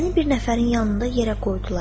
Məni bir nəfərin yanında yerə qoydular.